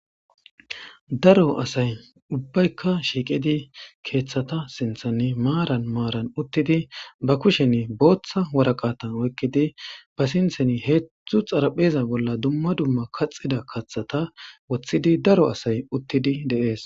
Daro asay uubbaykka shiiqqidi keeththata sinththanniaaran maaran uuttidi ba kushshen booththa waraqata oykidii ba sinththanni hedzdzu xaraphpheza bolla kaxxida kaththata woththidi daro asay uuttidii de'ees